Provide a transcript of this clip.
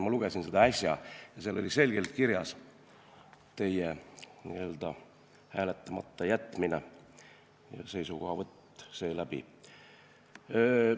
Ma lugesin seda äsja ja mäletan, et seal oli selgelt kirjas teie hääletamata jätmine ja seisukohavõtt seeläbi.